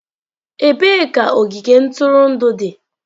Ebee ka ogige ntụrụndụ dị?